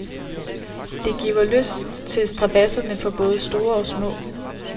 Det giver lyst til strabadserne for både store og små.